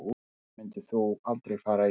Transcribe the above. Hvað myndir þú aldrei fara í